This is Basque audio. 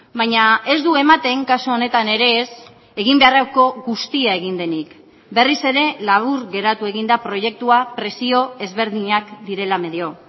baina ez du ematen kasu honetan ere ez egin beharreko guztia egin denik berriz ere labur geratu egin da proiektua presio ezberdinak direla medio